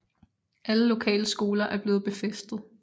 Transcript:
Alle lokale skoler er blevet befæstet